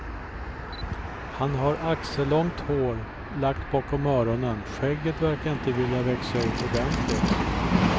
Han har axellångt hår lagt bakom öronen, skägget verkar inte vilja växa ut ordentligt.